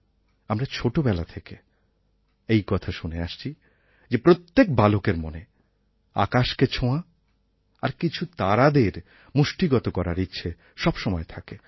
আমরা ছোটোবেলা থেকে এই কথা শুনে আসছি যে প্রত্যেক বালকের মনে আকাশকে ছোঁয়া আর কিছু তারাদের মুষ্টিগত করার ইচ্ছা সবসময় থাকে